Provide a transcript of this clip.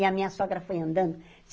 E a minha sogra foi andando.